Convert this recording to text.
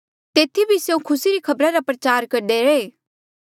तेथी भी स्यों खुसी री खबरा रा प्रचार करदे रैहे